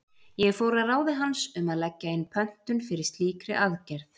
Ég fór að ráði hans um að leggja inn pöntun fyrir slíkri aðgerð.